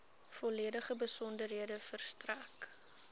volledige besonderhede verstrek